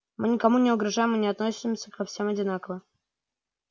мы никому не угрожаем и относимся ко всем одинаково